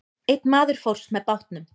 Einn maður fórst með bátnum.